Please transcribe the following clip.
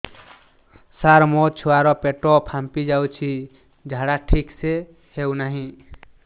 ସାର ମୋ ଛୁଆ ର ପେଟ ଫାମ୍ପି ଯାଉଛି ଝାଡା ଠିକ ସେ ହେଉନାହିଁ